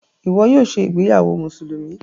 Ìwo yóò ṣe ìgbéyàwó Mùsùlùmí.